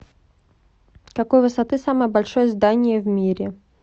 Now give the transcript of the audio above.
какой высоты самое большое здание в мире